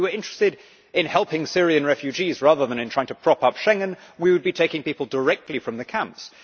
If we were interested in helping Syrian refugees rather than in trying to prop up Schengen, we would be taking people directly from the camps.